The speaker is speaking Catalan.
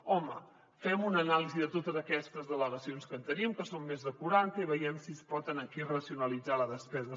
home fem una anàlisi de totes aquestes delegacions que tenim que són més de quaranta i vegem si es pot aquí racionalitzar la despesa